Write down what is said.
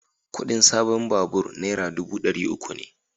Kudin sabon babur dubu dari uku ne